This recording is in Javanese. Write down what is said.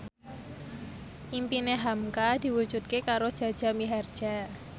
impine hamka diwujudke karo Jaja Mihardja